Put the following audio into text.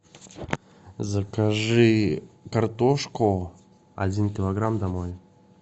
закажи картошку один килограмм домой